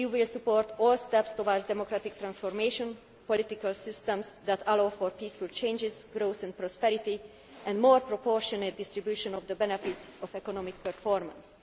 democratic way. The EU will support all steps towards democratic transformation to political systems that allow for peaceful changes, growth and prosperity and more proportionate distribution of the benefits of economic